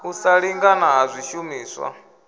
u sa lingana ha swishumiswa